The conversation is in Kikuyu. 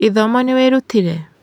Ithomo werutire?